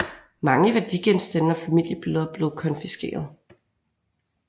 Mange værdigenstande og familiebilleder blev konfiskerede